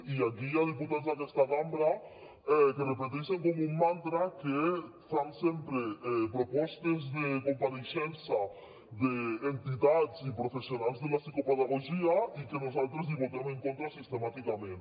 i aquí hi ha diputats d’aquesta cambra que repeteixen com un mantra que fan sempre propostes de compareixença d’entitats i professionals de la psicopedagogia i que nosaltres hi votem en contra sistemàticament